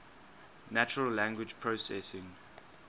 natural language processing